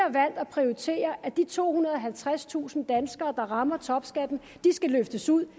at prioritere at de tohundrede og halvtredstusind danskere der rammer topskatten skal løftes ud